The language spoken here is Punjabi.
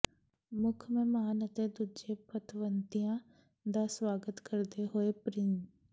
ਮੁੱਖ ਮਹਿਮਾਨ ਅਤੇ ਦੂਜੇ ਪਤਵੰਤਿਆਂ ਦਾ ਸਵਾਗਤ ਕਰਦੇ ਹੋਏ ਪ੍ਰਿੰ